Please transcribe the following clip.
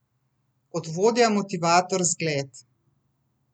Kot vodja, motivator, zgled ...